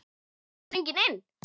Þetta var stöngin inn!